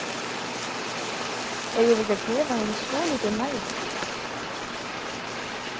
Eigum við ekki að gefa henni svolítið næði?